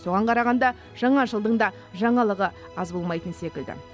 соған қарағанда жаңа жылдың да жаңалығы аз болмайтын секілді